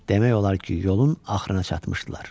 Demək olar ki, yolun axırına çatmışdılar.